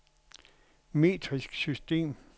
metrisk system